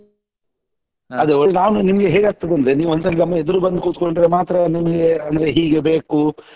ಅದೇ ನಾನು ನಿಮ್ಗೆ ಹೇಗಾಗ್ತದೇ ಅಂದ್ರೆ ನೀವ್ ಒಂದ್ಸಲಿ ನಮ್ ಎದುರು ಬಂದ್ ಕೂತ್ಕೊಂಡ್ರೆ ಮಾತ್ರ ನಿಮ್ಗೆ ಅಂದ್ರೆ ಹೀಗೆ ಬೇಕು